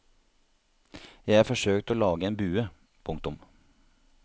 Jeg har forsøkt å lage en bue. punktum